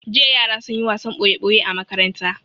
Jiya yara sun yi wasan ɓoya-ɓoya a makaranta.